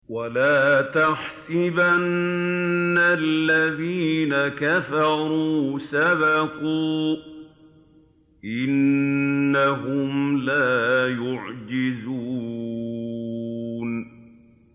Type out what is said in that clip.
وَلَا يَحْسَبَنَّ الَّذِينَ كَفَرُوا سَبَقُوا ۚ إِنَّهُمْ لَا يُعْجِزُونَ